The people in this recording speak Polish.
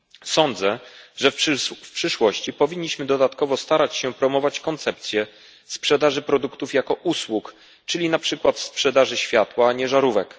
Sądzę, że w przyszłości powinniśmy dodatkowo starać się promować koncepcję sprzedaży produktów jako usług, czyli na przykład sprzedaży światła, a nie żarówek.